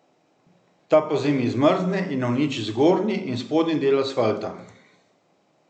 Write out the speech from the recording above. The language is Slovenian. Ta pozimi zmrzne in uniči zgornji in spodnji del asfalta.